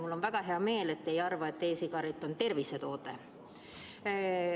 Mul on väga hea meel, et te ei arva, et e‑sigaret on tervisetoode.